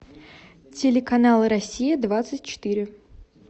телеканал россия двадцать четыре